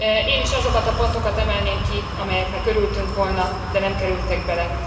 Én is azokat a pontokat emelném ki, amelyeknek örültünk volna, de nem kerültek bele.